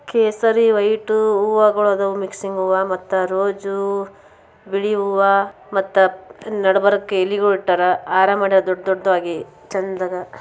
ಕೇಸರಿ ವೈಟು ಹೂವಗಳು ಆದವು ಮಿಕಶಿಂಗ್ ಹೂವ ಮತ್ತು ರೋಜು ಬಿಳಿ ಹೂವ ನಡಬರ್ಕ್ ಎಲಿಗೊಳು ಇಟ್ಟರು ಹಾರ ಮಾಡ್ಯಾರ್ ದೊಡ್ಡ ದೊಡ್ಡದಾಗಿ ಚೆಂದದ.